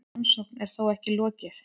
Rannsókn er þó ekki lokið.